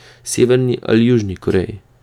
Severni ali Južni Koreji?